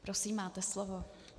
Prosím, máte slovo.